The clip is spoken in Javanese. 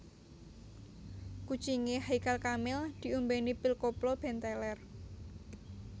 Kucinge Haykal Kamil diombeni pil koplo ben teler